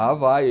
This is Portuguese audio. Ah, vai.